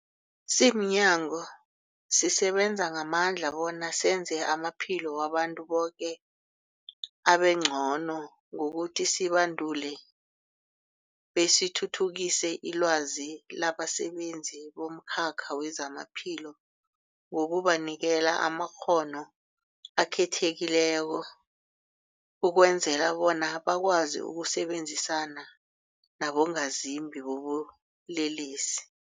Simnyango, sisebenza ngamandla bona senze amaphilo wabantu boke abengcono ngokuthi sibandule besithuthukise ilwazi labasebenzi bomkhakha wezamaphilo ngokubanikela amakghono akhethekileko ukwenzela bona bakwazi ukusebenzisana nabongazimbi bobulelesi.